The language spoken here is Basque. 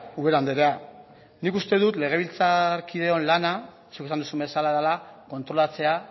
ubera andrea nik uste dut legebiltzarkideen lana zuk esan duzun bezala dela kontrolatzea